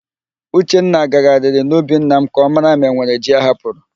Uchenna gagharịrị n'ubi nna m ka ọ mara ma enwere ji ahapụrụ.